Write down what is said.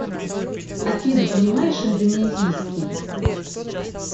афина понимаешь индонезийский